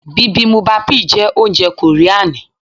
Bibimubapi jẹ́ oúnjẹ kòríani.